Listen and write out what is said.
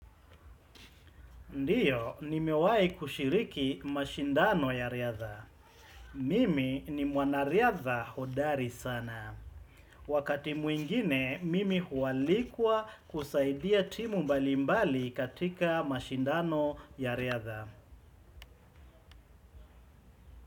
Ndiyo, nimewahi kushiriki mashindano ya riadha. Mimi ni mwanariadha hodari sana. Wakati mwingine, mimi hualikwa kusaidia timu mbalimbali katika mashindano ya riadha.